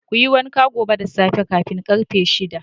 Kuyi wanka gobe da tsafe kamin karfe shida.